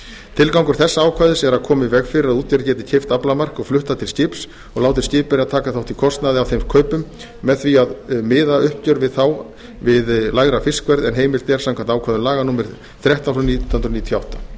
tilgangur þessa ákvæðis er að koma í veg fyrir að útgerð geti keypt aflamark og flutt það til skips og látið skipverja taka þátt í kostnaði af þeim kaupum með því að miða uppgjör við þá við lægra fiskverð en heimilt er samkvæmt ákvæðum laga númer þrettán nítján hundruð níutíu og átta